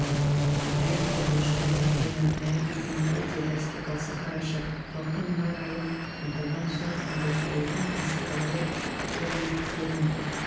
әй қоқыш әй такежан әй күйгенбай деді әскербасы қарашы халықтың мына райын аңдаған соң әбілқайырдың басыбайлы төлеңгіттерінің